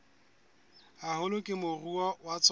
haholo ke moruo wa tsona